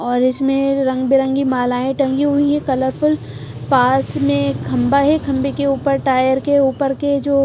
और इसमें ये रंग बिरंगी मालाएं टंगी हुई है कलरफुल पास में खंबा है खंबे के ऊपर टायर के ऊपर के जो--